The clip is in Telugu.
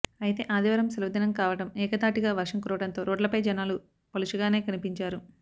అయితే ఆదివారం సెలవు దినం కావడం ఏకధాటిగా వర్షం కురవడంతో రోడ్లపై జనాలు పలుచగానే కనిపించారు